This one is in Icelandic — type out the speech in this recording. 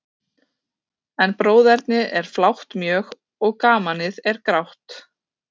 En bróðernið er flátt mjög, og gamanið er grátt.